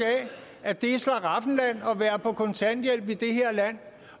at det er et slaraffenland at være på kontanthjælp i det her land